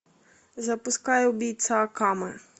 запускай убийца акаме